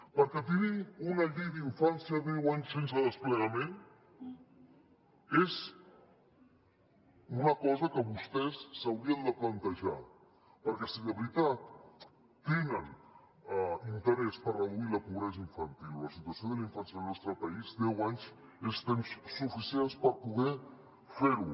perquè tenir una llei d’infància deu anys sense desplegament és una cosa que vostès s’haurien de plantejar perquè si de veritat tenen interès per reduir la pobresa infantil o la situació de la infància en el nostre país deu anys és temps suficient per poder fer ho